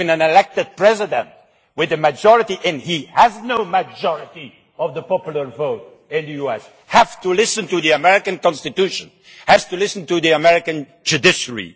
Even an elected President with a majority and he has no majority of the popular vote in the US has to listen to the American Constitution, has to listen to the American judiciary.